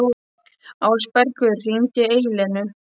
Ásbergur, hringdu í Eleinu.